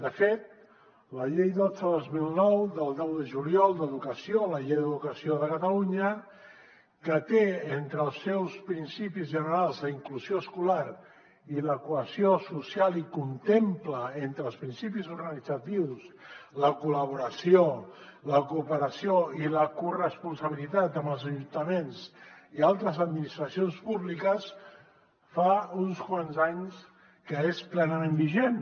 de fet la llei dotze dos mil nou del deu de juliol d’educació la llei d’educació de catalunya que té entre els seus principis generals la inclusió escolar i la cohesió social i contempla entre els principis organitzatius la col·laboració la cooperació i la corresponsabilitat amb els ajuntaments i altres administracions públiques fa uns quants anys que és plenament vigent